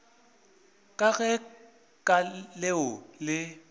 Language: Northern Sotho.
ka ge ka leo le